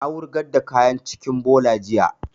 Na wurgar da kayan cikin bola jiya